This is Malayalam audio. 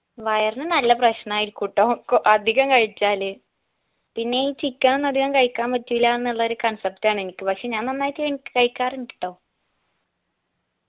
വയറിന് നല്ല പ്രശ്നായിരിക്കൂട്ടോ കൊ അധികം കഴിച്ചാല് പിന്നെ ഈ chicken ഒന്നും അധികം കഴിക്കാൻ പറ്റൂല്ലാന്നുള്ള ഒരു concept ആണ് പക്ഷെ ഞാൻ നന്നായിട്ട് കണിക്ക് കഴിക്കാറുണ്ട് ട്ടൊ